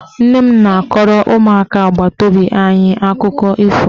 Nne m na-akọrọ ụmụaka agbataobi anyị akụkọ ifo.